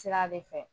Sira de fɛ